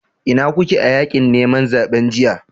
Ina kuke a yakin neman zaben jiya?